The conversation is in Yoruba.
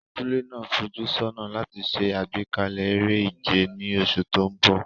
Abúlé náà ń fojú sọ́nà láti ṣe àgbékalẹ̀ eré ìje ní oṣù tó ń bọ̀.